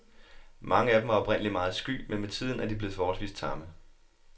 Mange af dem var oprindeligt meget sky, men med tiden er de blevet forholdsvis tamme.